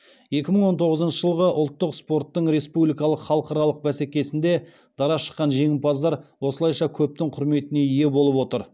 екі мың он тоғызыншы жылғы ұлттық спорттың республикалық халықаралық бәсекесінде дара шыққан жеңімпаздар осылайша көптің құрметіне ие болып отыр